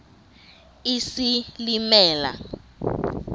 isilimela